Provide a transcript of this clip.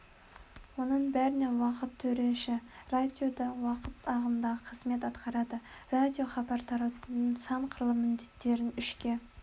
оның бәріне уақыт төреші радио да уақыт ағымында қызмет атқарады радиохабар таратудың сан қырлы міндеттерін үшке